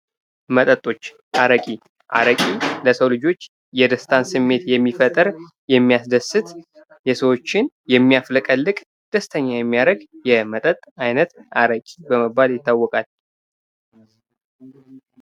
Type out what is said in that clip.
መጠጦች አረቂ አረቂ ለሰው ልጆች የደስታ ስሜት የሚፈጥር የሚያስደስት የሰዎችን የሚያፍለቀልቅ ደስታጋ የሚያደርግ የመተጠጥ አይነት አረቂ በመባል ይታወቃል::